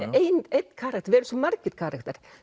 einn karakter við erum svo margir karakterar